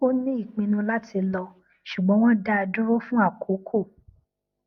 ó ní ìpinnu láti lọ ṣùgbọn wọn dá a dúró fún àkókò